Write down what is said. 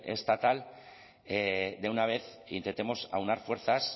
estatal de una vez intentemos aunar fuerzas